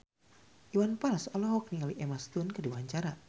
Iwan Fals olohok ningali Emma Stone keur diwawancara